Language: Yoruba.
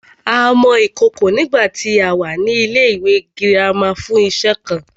A mọ ìkòkò nígbàtí a wà ní ilẹ́ ìwé girama fún iṣe kan